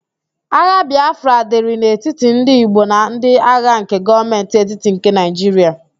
Agha Bịafra dịrị n'etiti ndị Igbo na ndi agha nke Gọọmentị etiti nke Naịjiria